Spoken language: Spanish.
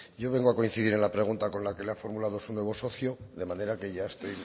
yo vengo a coincidir en la pregunta con la que le ha formulado su nuevo socio de manera que ya estoy